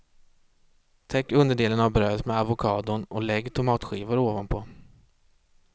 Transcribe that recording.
Täck underdelen av brödet med avokadon och lägg tomatskivor ovanpå.